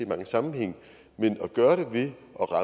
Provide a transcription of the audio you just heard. mange sammenhænge men at gøre det ved